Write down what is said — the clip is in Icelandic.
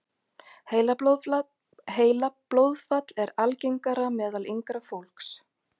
Heilablóðfall algengara meðal yngra fólks